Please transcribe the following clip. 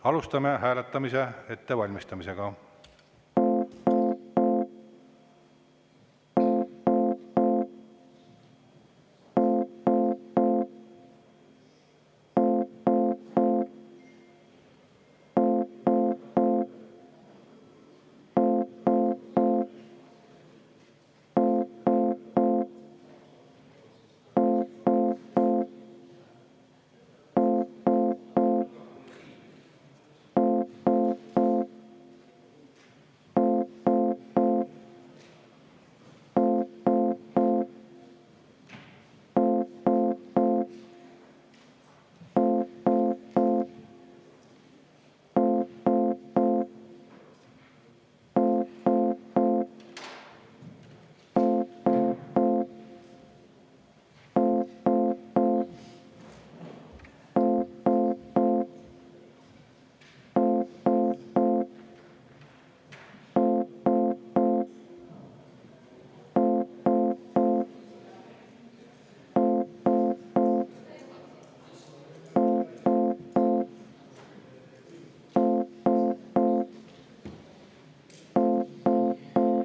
Alustame hääletamise ettevalmistamist.